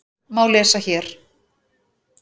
má lesa hér.